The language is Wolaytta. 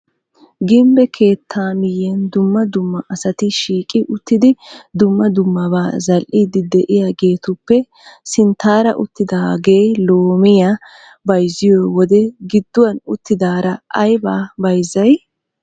Gimbbe keettaa miyan dumma dumma asati shiiqi uttidi dumma dummabaa zal"iiddi de'iyageetuppe sinttaara uttidaagee loomiya bayzziyo wode gidduwan uttidaara aybaa bayzzay?